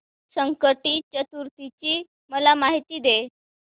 संकष्टी चतुर्थी ची मला माहिती दे